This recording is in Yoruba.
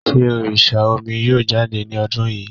Sé òrìsà omi yóò jáde ni ọdún yìí?